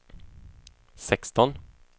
sexton